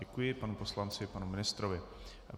Děkuji panu poslanci i panu ministrovi.